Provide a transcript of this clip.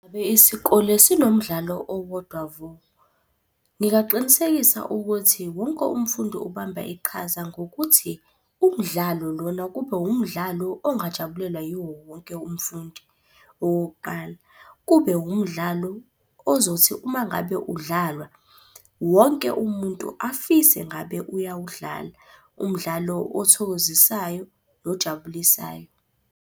Ngabe isikole sinomdlalo owodwa vo. Ngingaqinisekisa ukuthi wonke umfundi ubamba iqhaza ngokuthi umdlalo lona kube wumdlalo ongajabulelwa yiwo wonke umfundi. Okokuqala, kube wumdlalo ozothi uma ngabe udlalwa, wonke umuntu afise ngabe uyawudlala. Umdlalo othokozisayo nojabulisayo.